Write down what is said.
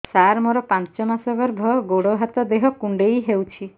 ସାର ମୋର ପାଞ୍ଚ ମାସ ଗର୍ଭ ଗୋଡ ହାତ ଦେହ କୁଣ୍ଡେଇ ହେଉଛି